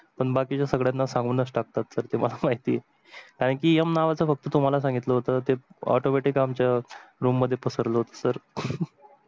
पण बाकीचे संगड्यांणा सांगूनच टाकतात sir ते मला महिती आहे कारण की m नावाच तुम्हाला सांगितल होत ते automatic आमच्या room मध्ये पसरल होत sir